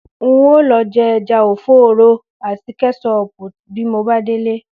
N óò lo̩ je̩ e̩ja ò̩fó̩ò̩rò̩ àti ké̩sóò̩pù bí mo bá délé